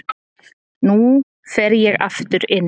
Nú fer ég aftur inn.